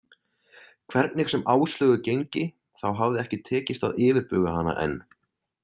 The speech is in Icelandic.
Hvernig sem Áslaugu gengi, þá hafði ekki tekist að yfirbuga hana enn.